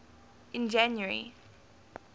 in january